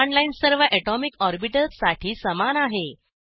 command line सर्व atomic orbitals साठी समान आहे